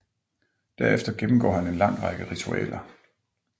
Derefter gennemgår han en lang række ritualer